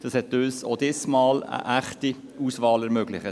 das hat uns auch diesmal eine echte Auswahl ermöglicht.